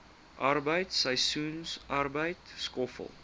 arbeid seisoensarbeid skoffel